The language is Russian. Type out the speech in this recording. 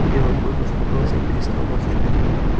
белый клык успокоился и перестал ворчать